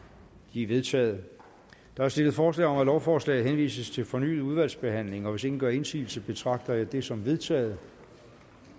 de er vedtaget der er stillet forslag om at lovforslaget henvises til fornyet udvalgsbehandling og hvis ingen gør indsigelse betragter jeg det som vedtaget